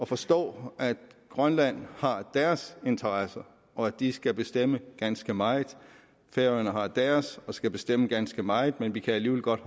forstår at grønland har deres interesser og at de skal bestemme ganske meget at færøerne har deres og skal bestemme ganske meget og at vi alligevel godt